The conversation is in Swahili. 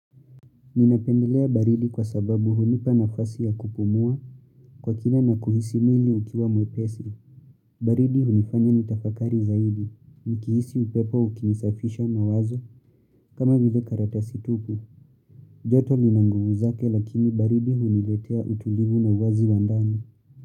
Ninapendelea baridi kwa sababu hunipa nafasi ya kupumua kwa kina na kuhisi mwili ukiwa mwepesi. Baridi hunifanya ni tafakari zaidi. Mkihisi upepo ukinisafisha mawazo kama vile karatasi tupu. Joto lina nguvu zake lakini baridi huniletea utulivu na uwazi wa ndani.